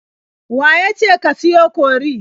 Wa ya ce ka siyo kori?